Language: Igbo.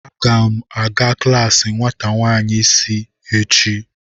Aga m aga klaasi nwata nwanyị isi echi.